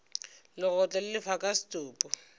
legotlo le lefa ka setopo